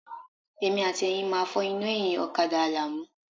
Èmi àti Ẹ̀yin máa fọ́ iná ẹ̀yìn ọ̀kadà Àlàmú.